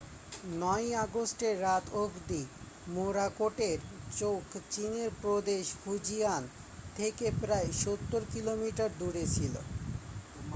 9 ই আগস্টের রাত অবধি মোরাকোটের চোখ চীনের প্রদেশ ফুজিয়ান থেকে প্রায় সত্তর কিলোমিটার দূরে ছিল